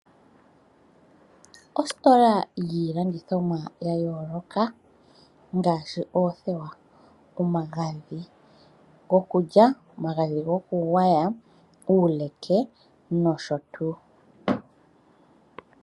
Ositola yiilandithomwa ya yooloka, ngaashi oothewa, omagadhi go kulya, omagadhi go kugwaya, uuleke nosho tuu.